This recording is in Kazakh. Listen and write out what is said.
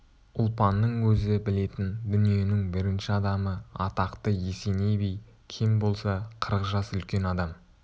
ұлпанның өзі білетін дүниенің бірінші адамы атақты есеней би кем болса қырық жас үлкен адам